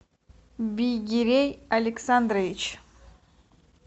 бигерей александрович